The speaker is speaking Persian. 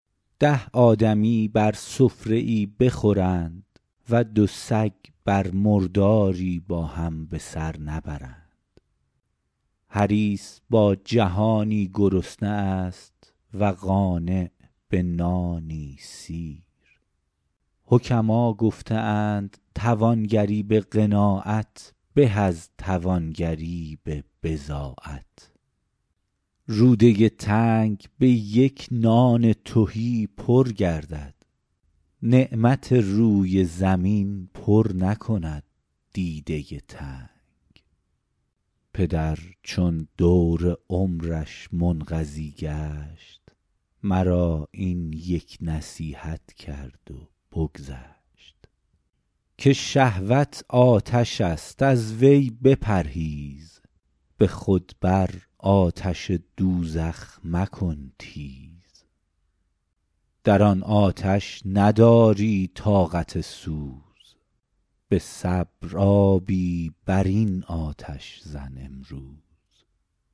ده آدمی بر سفره ای بخورند و دو سگ بر مرداری با هم به سر نبرند حریص با جهانی گرسنه است و قانع به نانی سیر حکما گفته اند توانگری به قناعت به از توانگری به بضاعت روده تنگ به یک نان تهی پر گردد نعمت روی زمین پر نکند دیده تنگ پدر چون دور عمرش منقضی گشت مرا این یک نصیحت کرد و بگذشت که شهوت آتش است از وی بپرهیز به خود بر آتش دوزخ مکن تیز در آن آتش نداری طاقت سوز به صبر آبی بر این آتش زن امروز